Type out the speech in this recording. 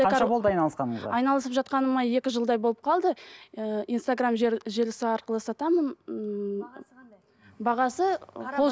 қанша болды айналысқаныңызға айналысып жатқаныма екі жылдай болып қалды ііі инстаграм желісі арқылы сатамын ммм бағасы қол